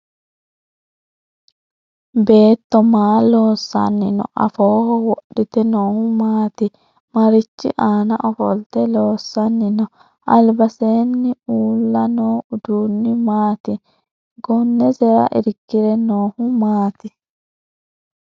Beetto maa loosanni no? Afooho wudhite noohu maati? Marichi aanna ofolte loosanni no? Albaseenni uula noo uduunni maati? Gonesera irkire noohu maati